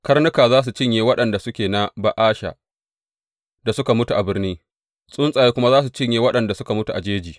Karnuka za su cinye waɗanda suke na Ba’asha da suka mutu a birni, tsuntsaye kuma za su cinye waɗanda suka mutu a jeji.